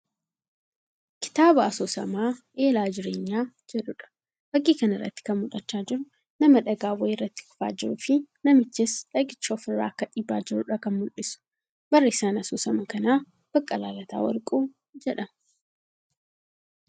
Kitaaba Asoosamaa Eelaa Jireenyaa jedhuudha. Fakkii kanarratti kan mul'achaa jiru nama dhagaan wayii irratti kufaa jiruu fii namichis nagicha ofirraa akka dhiibaa jiruudha kan mul'isu. Barreessan Asoosama kanaa Baqqalaa Lataa Warquu jedhama.